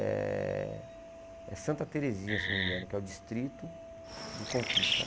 É Santa Terezinha, se não me engano, que é o distrito de Conquista.